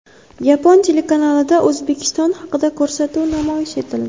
Yapon telekanalida O‘zbekiston haqida ko‘rsatuv namoyish etildi.